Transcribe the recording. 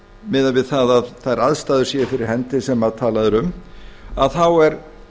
miðað við það að þær aðstæður séu fyrir hendi sem talað er um þá er